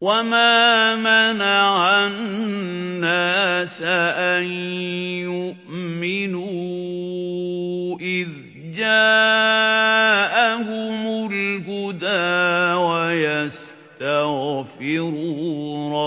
وَمَا مَنَعَ النَّاسَ أَن يُؤْمِنُوا إِذْ جَاءَهُمُ الْهُدَىٰ وَيَسْتَغْفِرُوا